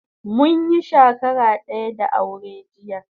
Munyi shakara daya da aure jiya